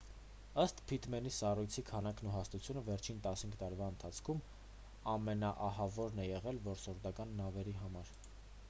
ըստ փիթմենի սառույցի քանակն ու հաստությունը վերջին 15 տարվա ընթացքում ամենաահավորն է եղել որսորդական նավերի համար